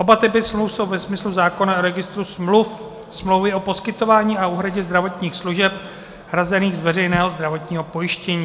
Oba typy smluv jsou ve smyslu zákona o registru smluv smlouvy o poskytování a úhradě zdravotních služeb hrazených z veřejného zdravotního pojištění.